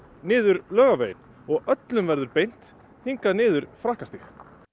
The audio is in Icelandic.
niður Laugaveginn og öllum verður beint hingað niður Frakkastíg